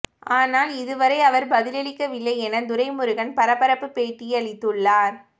ஆனால் இதுவரை அவர் பதிலளிக்கவில்லை என துரைமுருகன் பரபரப்பு பேட்டியளித்துள்ளார்